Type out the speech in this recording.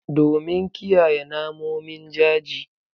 Domin kiyaye namomin jaji